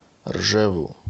ржеву